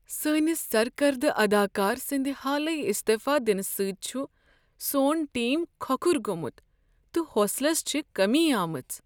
سٲنس سرکردٕ اداکار سٕنٛد حالٕے استعفا دنہٕ سۭتۍ چھ سون ٹیم کھۄکھُر گومت تہ حوصلس چھےٚ کٔمی آمٕژ۔